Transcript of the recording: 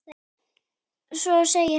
Svo segir hann